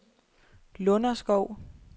Lunderskov